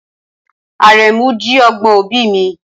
Aremu jí ọgbọ̀n obì mi.